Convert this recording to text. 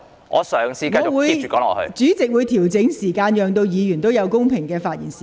我會就此作出調整，讓議員有相等的發言時間。